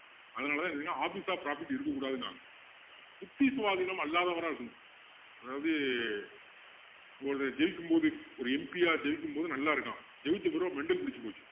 அதனால தான் என்னன்னா office of profit இருக்க கூடாதுன்னாங்க புத்தி சுவாதீனம் அல்லாதவரா இருக்கணும் அதாவது இப்போ ஒருத்தன் ஜெயிக்கும் போது ஒரு MP யா ஜெயிக்கும் போது நல்லா இருக்கான் ஜெயிச்ச பிறகு mental புடிச்சு போச்சு